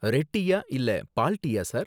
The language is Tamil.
ரெட் டீயா இல்ல பால் டீயா சார்?